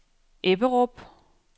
Ebberup